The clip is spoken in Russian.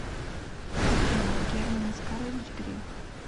афина герман оскарович грех